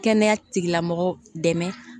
Kɛnɛya tigilamɔgɔw dɛmɛ